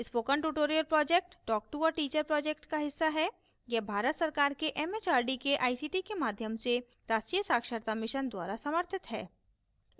spoken tutorial project talktoateacher project का हिस्सा है यह भारत सरकार के एमएचआरडी के आईसीटी के माध्यम से राष्ट्रीय साक्षरता mission द्वारा समर्थित है